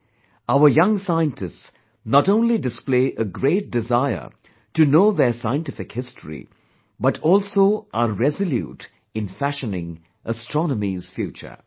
Today, our young scientists not only display a great desire to know their scientific history, but also are resolute in fashioning astronomy's future